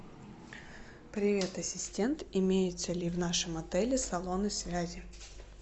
привет ассистент имеются ли в нашем отеле салоны связи